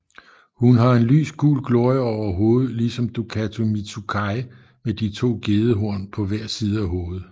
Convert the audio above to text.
Hun har en lys gul glorie over hovedet ligesom Dokuro Mitsukai med de to gedehom pa hver side af hovedet